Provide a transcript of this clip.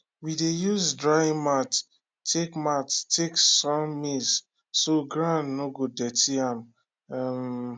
we dey use drying mat take mat take sun maize so ground no go dirty am um